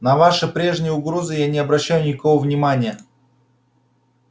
на ваши прежние угрозы я не обращаю никакого внимания